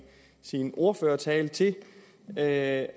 sin ordførertale til at